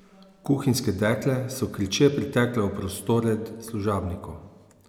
Kuhinjske dekle so kriče pritekle v prostore služabnikov.